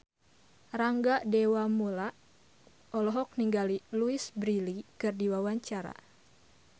Rangga Dewamoela olohok ningali Louise Brealey keur diwawancara